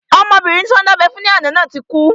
Ọmọbìnrin tí wọ́n dábẹ́ fún ní àná náà ti kú